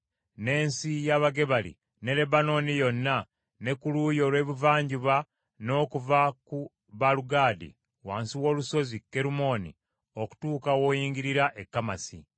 n’ensi y’Abagebali, ne Lebanooni yonna, ne ku luuyi olw’ebuvanjuba, n’okuva ku Baalugadi wansi w’olusozi Kerumooni okutuuka w’oyingirira e Kamasi.